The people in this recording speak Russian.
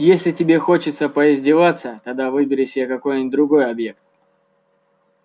если тебе хочется поиздеваться тогда выбери себе какой-нибудь другой объект